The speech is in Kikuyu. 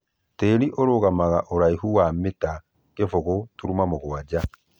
Tĩĩri ũrũgamaga mũgũnda ũraihu wa mita 0.7